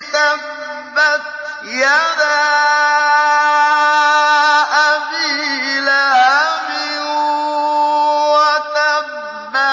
تَبَّتْ يَدَا أَبِي لَهَبٍ وَتَبَّ